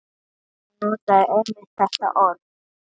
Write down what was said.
Hún notaði einmitt þetta orð.